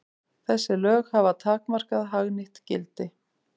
Þessi lög hafa takmarkað hagnýtt gildi.